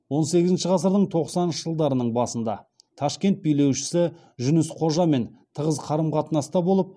он сегізінші ғасырдың тоқсаныншы жылдарының басында ташкент билеушісі жүніс қожамен тығыз қарым қатынаста болып